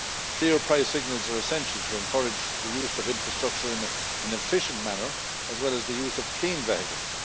Clear price signals are essential to encourage the use of infrastructure in an efficient manner, as well as the use of clean vehicles.